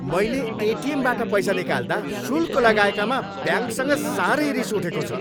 मैले एटिएमबाट पैसा निकाल्दा शुल्क लगाएकामा ब्याङ्कसँग साह्रै रिस उठेको छ।